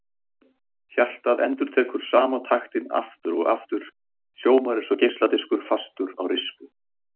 Hjartað endurtekur sama taktinn aftur og aftur, hljómar eins og geisladiskur fastur á rispu.